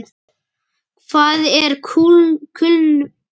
Hvað er kulnun í starfi?